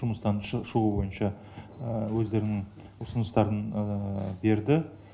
жұмыстан шығуы бойынша өздерінің ұсыныстарын берді